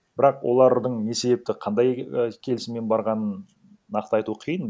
бірақ олардың не себепті қандай і келісіммен барғанын нақты айту қиын